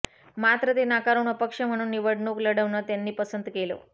मात्र ते नाकारून अपक्ष म्हणून निवडणूक लढवणं त्यांनी पसंत केलं